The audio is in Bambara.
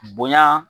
Bonya